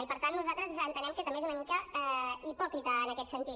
i per tant nosaltres entenem que també és una mica hipòcrita en aquest sentit